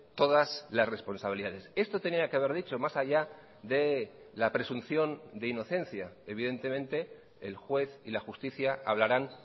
todas las responsabilidades esto tenía que haber dicho más allá de la presunción de inocencia evidentemente el juez y la justicia hablarán